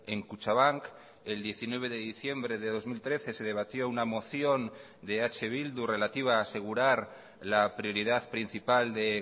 en kutxabank el diecinueve de diciembre de dos mil trece se debatió una moción de eh bildu relativa a asegurar la prioridad principal de